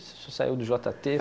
O senhor saiu do jota tê.